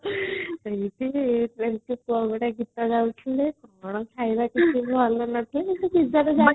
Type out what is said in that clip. ସେମିତି କଣ ଗୋଟେ ଗୀତ ଗାଉଥିଲେ ଆପଣ ଖାଇବା